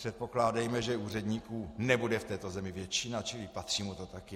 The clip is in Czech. Předpokládejme, že úředníků nebude v této zemi většina, čili patří mu to taky.